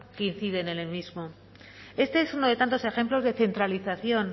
que inciden en el mismo este es uno de tantos ejemplos de centralización